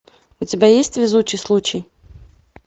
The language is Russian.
у тебя есть везучий случай